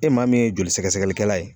E maa min ye joli sɛgɛsɛgɛkɛlali kɛ kɛla ye